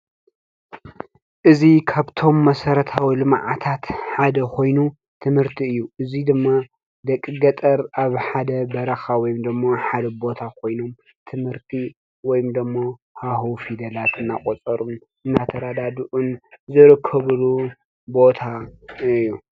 እዚ ካብቶም መሠረታዊ ልምዓታት ሓደ ኾይኑ ትምህርቲ እዩ። እዙይ ድማ ደቂ ገጠር ኣብ ሓደ በረኻ ወይም ደሞ ሓደ ቦታ ኾይኖም ትምህርቲ ወይም ደሞ ሀሁ ፊደላት እናቖጸሩ እናተራዳድኡን ዝርከብሉ ቦታ እዩ።